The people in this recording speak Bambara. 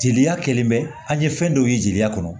Jeli kɛlen bɛ an ye fɛn dɔw ye jeliya kɔnɔ